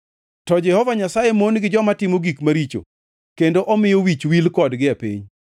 to Jehova Nyasaye mon gi joma timo gik maricho, kendo omiyo wich wil kodgi e piny.